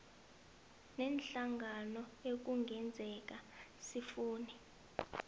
neenhlangano ekungenzeka sifune